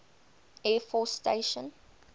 air force station